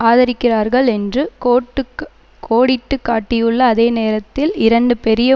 ஆதரிக்கிறார்கள் என்று கோடிட்டுக்கு கோடிட்டுக்காட்டியுள்ள அதே நேரத்தில் இரண்டு பெரிய